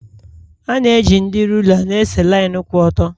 A na-eji ndị rula na-ese linu kwụ ọtọ.